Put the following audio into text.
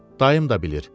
Dayım da bilir.